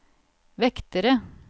vektere